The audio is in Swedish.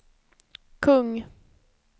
kung